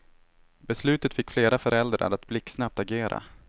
Beslutet fick flera föräldrar att blixtsnabbt agera.